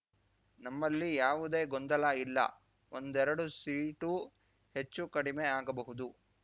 ನಮ್ಮಲ್ಲಿ ಯಾವುದೇ ಗೊಂದಲ ಇಲ್ಲ ಒಂದೆರಡು ಸೀಟು ಹೆಚ್ಚು ಕಡಿಮೆ ಆಗಬಹುದು